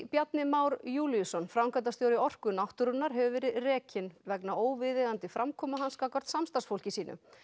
Bjarni Már Júlíusson framkvæmdastjóri Orku náttúrunnar hefur verið rekinn vegna óviðeigandi framkomu hans gagnvart samstarfsfólki sínu